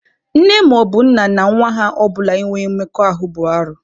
Nne maọbụ nna na nwa ha ọbụla inwe mmekọahụ bụ arụ.